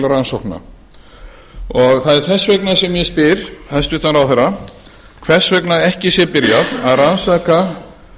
rannsókna það er þess vegna sem ég spyr hæstvirtur ráðherra hvers vegna ekki sé byrjað að rannsaka